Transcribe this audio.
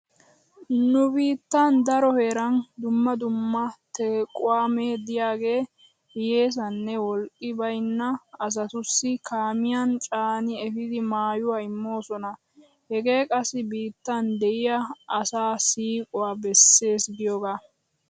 Nu biittan daro heeran dumma dumma tequwaamee diyaagee hiyyeesanne wolqqi baynna asatussi kaamiyan caani efidi maayuwa immoosona. Hegee qassi biittan de'iya asaa siiquwa bessees giyogaa.